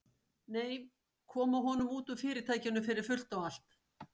Nei, koma honum út úr Fyrirtækinu fyrir fullt og allt.